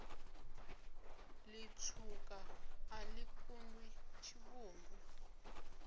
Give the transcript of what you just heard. litswuka a li kundwi tshivhungu